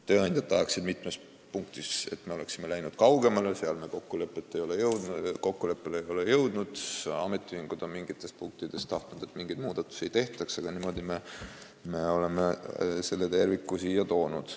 Tööandjad oleksid tahtnud, et me oleksime mitmes punktis läinud kaugemale, seal me kokkuleppele ei ole jõudnud, ametiühingud on tahtnud, et mitmes punktis mingeid muudatusi ei oleks tehtud, aga niimoodi me oleme selle terviku siia toonud.